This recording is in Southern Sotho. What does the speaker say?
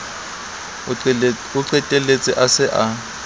o qetelletse a se a